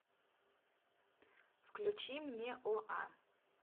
включи мне оа